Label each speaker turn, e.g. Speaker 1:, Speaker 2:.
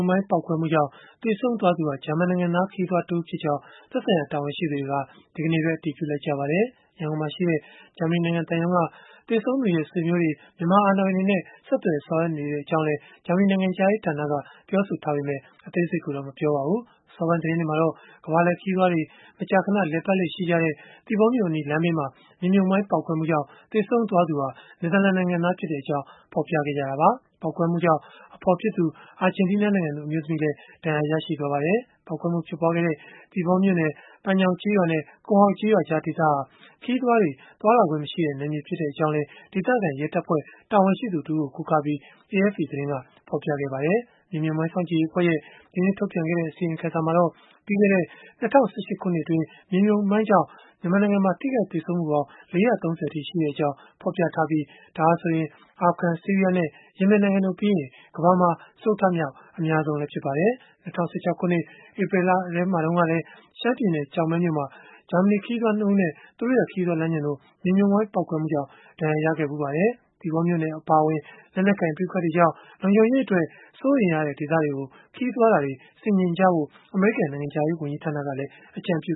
Speaker 1: မိုင်းပေါက်ကွဲမှုကြောင့် သေဆုံးသွားသူဟာ ဂျာမန်နိုင်ငံသား ခရီးသွား တဦးဖြစ်ကြောင်း သက်ဆိုင်ရာ တာဝန်ရှိသူတွေက ဒီကနေ့ပဲ အတည်ပြုလိုက်ကြပါတယ်။ ရန်ကုန်မှာရှိတဲ့ ဂျာမနီနိုင်ငံ သံရုံးက သေဆုံးသူရဲ့ ဆွေမျိုးတွေ၊ မြန်မာအာဏာပိုင်တွေနဲ့ ဆက်သွယ်ဆောင်ရွက်နေကြောင်းလည်း ပြောပေမဲ့ အသေးစိတ်ကိုတော့ မပြောပါဘူး။ အစောပိုင်း သတင်းတွေမှာတော့ ကမ္ဘာလှည့်ခရီးသွားတွေ မကြာခဏ လည်ပတ်လေ့ရှိတဲ့ သီပေါမြို့အနီး လမ်းဘေးမှာ မြေမြှုပ်မိုင်း ပေါက်ကွဲမှုကြောင့် သေဆုံးသူဟာ နယ်သာလန်နိုင်ငံသားဖြစ်ကြောင်း ဖော်ပြခဲ့ကြတာပါ။ ပေါက်ကွဲမှုကြောင့် အဖော်ဖြစ်သူ အာဂျင်တီးနားနိုင်ငံသူ အမျိုးသမီးလည်း ဒဏ်ရာရခဲ့ပါတယ်။ ပေါက်ကွဲမှုဖြစ်ခဲ့တဲ့ သီပေါမြို့နယ်၊ ပန်ညောင်ကျေးရွာနဲ့ ကွန်ဟောက်ကျေးရွာကြား ဒေသဟာ ခရီးသွားတွေ သွားလာခွင့်မရှိတဲ့ နယ်မြေဖြစ်ကြောင်းလည်း ဒေသခံရဲတပ်ဖွဲ့ တာဝန်ရှိသူ တဦးကို ကိုးကားပြီး AFP သတင်းက ဖော်ပြပါတယ်။ မြေမြှုပ်မိုင်း စောင့်ကြည့်ရေးအဖွဲ့ရဲ့ ဒီနှစ် ထုတ်ပြန်ခဲ့တဲ့ အစီရင်ခံစာမှာတော့ ပြီးခဲ့တဲ့ ၂၀၁၈ ခုနှစ်အတွင်း မြေမြှုပ်မိုင်းကြောင့် ထိခိုက်သေဆုံးမှုပေါင်း ၄၃၀ အထိ ရှိခဲ့ကြောင်း ဖော်ပြခဲ့ပြီး၊ ဒါဟာဆိုရင် အာဖဂန်၊ ဆီးရီးယားနဲ့ ယီမင်နိုင်ငံတို့ပြီးရင် ကမ္ဘာမှာ စတုတ္ထမြောက် အများဆုံးလည်း ဖြစ်ပါတယ်။ ၂၀၁၆ ခုနှစ် ဧပြီလတုန်းကလည်း ရှမ်းပြည်နယ် ကျောက်မဲမှာ ဂျာမနီ ခရီးသွား နှစ်ဦးနဲ့ သူတို့ရဲ့ ခရီးသွားလမ်းညွှန်တို့ မြေမြှုပ်မိုင်း ပေါက်ကွဲမှုကြောင့် ဒဏ်ရာရခဲ့ဘူးပါတယ်။ သီပေါမြို့နယ်အပါအဝင် လက်နက်ကိုင် ပဋိပက္ခတွေကြောင့် လုံခြုံရေး စိုးရိမ်ရတဲ့ ဒေသတွေကို ခရီးသွားတာတွေ ဆင်ခြင်ကြဖို့ အမေရိကန် နိုင်ငံခြားရေး ဝန်ကြီးဌာနကလည်း အကြံပြ